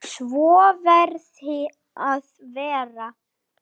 Svo verði að vera.